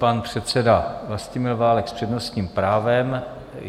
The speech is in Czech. Pan předseda Vlastimil Válek s přednostním právem.